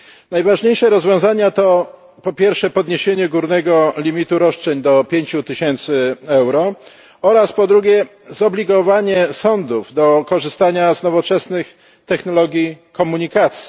Najważniejsze rozwiązania to po pierwsze podniesienie górnego limitu roszczeń do 5000 euro oraz po drugie zobligowanie sądów do korzystania z nowoczesnych technologii komunikacji.